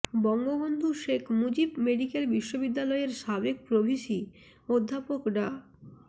Bangabandhu Sheikh Mujib medical বিশ্ববিদ্যালয়ের সাবেক pro VC অধ্যাপক ডা